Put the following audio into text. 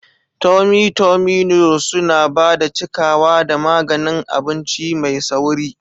Tummy tummy noodles suna ba da cikawa da maganin abinci mai sauri.